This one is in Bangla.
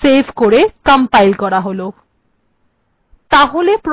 সেভ করে কম্পাইল করা যাক